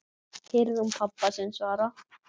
heyrði hún pabba sinn svara.